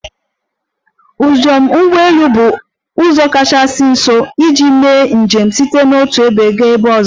Njem ụgbọ elu bụ ụzọ kachasị ọsọ iji mee njem site n'otu ebe gaa ebe ọzọ.